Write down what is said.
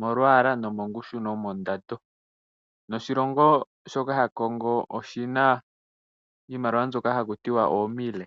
molwaala, mongushu nomondando. Oshilongo sha Kongo oshina iimaliwa mbyoka hakutiwa oo Mille.